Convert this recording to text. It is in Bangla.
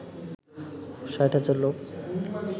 ৬০ হাজার লোক